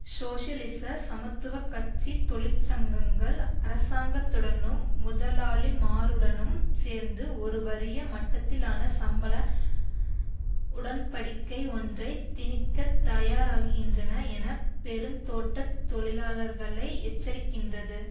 சோசியலிச சமத்துவ கட்சி தொழிற்சங்கங்கள் அரசாங்கத்துடனும் முதலாளிமாருடனும் சேர்ந்து ஒரு வறிய மட்டத்திலான சம்பள உடன்படிக்கையொன்றை திணிக்கத் தயாராகின்றன என பெருந்தோட்ட தொழிலாளர்களை எச்சரிக்கின்றது